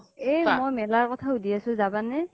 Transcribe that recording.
অ মই মেলাৰ কথা শুদ্ধি আছোঁ যাবানে